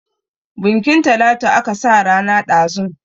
Bunkin Talatu aka sa rana ɗazun.